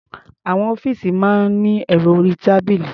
Àwọn ọ́fíìsì máa ní ẹ̀rọ orí-tábìlì.